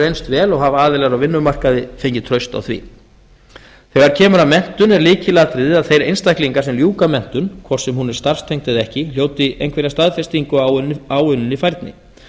reynst vel og hafa aðilar á vinnumarkaði fengið traust á því þegar kemur að menntun er lykilatriði að þeir einstaklingar sem ljúka menntun hvort sem hún er starfstengd eða ekki hljóti einhverja staðfestingu á áunninni færni